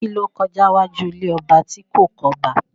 Kí ló kọjá níwájú ilé ọba tí kò kọ́ba?